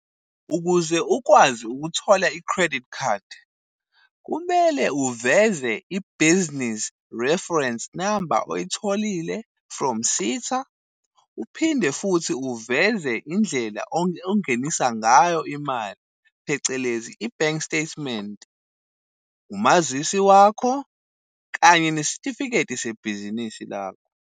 Ukuze ukwazi ukuthola i-credit card, kumele uveze i-business reference number oyitholile from SETA. Uphinde futhi uveze indlela ongenisa ngayo imali phecelezi i-bank statement, umazisi wakho, kanye nesitifiketi sebhizinisi lakho.